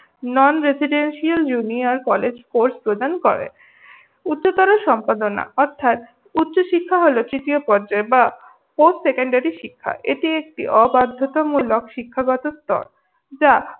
Non residential junior college course প্রদান করে। উচ্চতর সম্পাদনা অর্থাৎ উচ্চশিক্ষা হল তৃতীয় পর্যায় বা fourth secondary শিক্ষা। এটি একটি অবাধ্যতামূলক শিক্ষাগত স্তর। যা